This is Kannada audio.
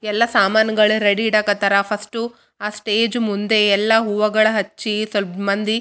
ಒಬ್ಬ ಹುಡುಗ ನೆಲಿ ಬಣ್ಣದ ಬಟ್ಟೆಯನ್ನ ಹಾಕಿಕೊಂಡು ಕುಳಿತಿದ್ದಾನೆ.